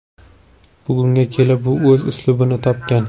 Bugunga kelib u o‘z uslubini topgan.